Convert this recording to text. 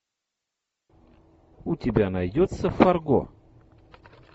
у тебя найдется фарго